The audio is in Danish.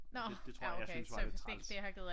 Det tror jeg jeg synes var lidt træls